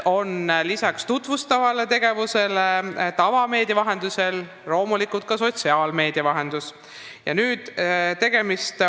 Lisaks tutvustavale tegevusele tavameedia vahendusel tutvustatakse ministeeriumi tegevusi loomulikult sotsiaalmeedias.